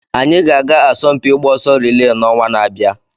Anyị ga-aga asọmpi ịgba ọsọ riilee n'ọnwa na-abịa.